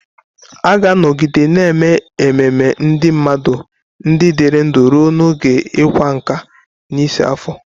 A ga-anọgide na-eme ememe ndị mmadụ ndị dịrị ndụ ruo n'oge ịka nká, n'isi afọ.